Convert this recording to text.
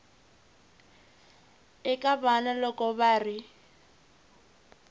eka vana loko va ri